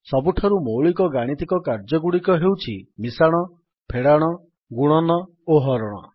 ସବୁଠାରୁ ମୌଳିକ ଗାଣିତିକ କାର୍ଯ୍ୟଗୁଡ଼ିକ ହେଉଛି ମିଶାଣ ଫେଡାଣ ଗୁଣନ ଓ ହରଣ